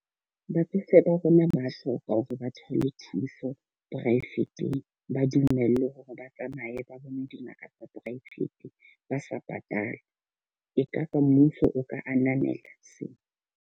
Batsofe ba rona ba hloka hore ba thole thuso poraefeteng, ba dumellwe hore ba tsamaye ba bone dingaka tsa poraefete ba sa patale. E ka ba mmuso o ka ananela sena.